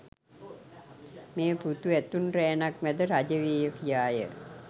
මේ පුතු ඇතුන් රෑනක් මැද රජ වේය කියාය